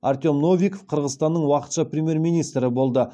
артем новиков қырғызстанның уақытша премьер министрі болды